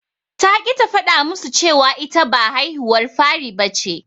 Ta ƙi ta faɗa musu cewa ita ba haihuwar fari bace.